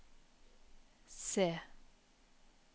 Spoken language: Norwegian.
C